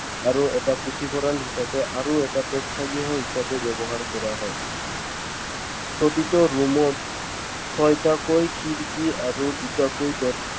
আৰু এটা পুথিভঁৰাল হিচাপে আৰু এটা প্ৰেক্ষাগৃহ হিচাপে ব্যৱহাৰ কৰা হয়। প্ৰতিটো room ত ছয়টাকৈ খিৰিকী আৰু দুটাকৈ দৰ